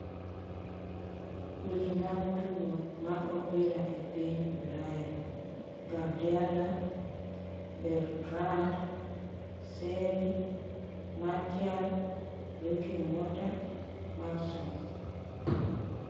Weche mag tugo mar opira e piny Ulaya: Gardiola, Bertrand, Seri, Martial, Drinkwater, Mawson